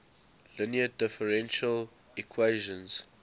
linear differential equations